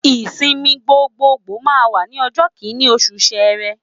Ìsinmi gbogboògbò máa wà ní ọjọ́ Kínní oṣù Sẹrẹ.